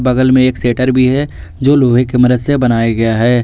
बगल में एक शटर भी है जो लोहे की मदद से बनाया गया है।